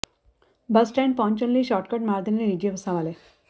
ਬੱਸ stand ਪਹੁੰਚਣ ਲਈ shortcut ਮਾਰਦੇ ਨੇ ਨਿਜੀ ਬੱਸਾਂ ਵਾਲੇ